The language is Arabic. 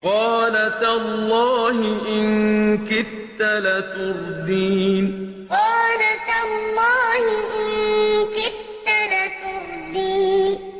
قَالَ تَاللَّهِ إِن كِدتَّ لَتُرْدِينِ قَالَ تَاللَّهِ إِن كِدتَّ لَتُرْدِينِ